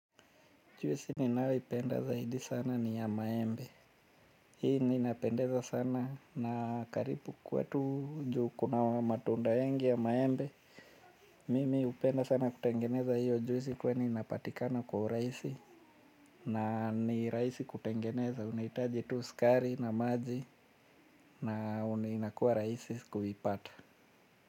Juisi ninayo ipenda zaidi sana ni ya maembe hii ninapendeza sana na karibu kwetu juu kunawa matunda mengi ya maembe mimi hupenda sana kutengeneza hiyo juisi kwani inapatikana kwa urahisi na ni rahisi kutengeneza, unahitaji tu sukari na maji na inakuwa rahisi kuipata.